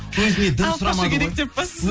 алып қашу керек деп па сосын